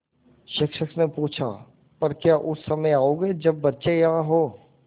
शिक्षक ने पूछा पर क्या उस समय आओगे जब बच्चे यहाँ हों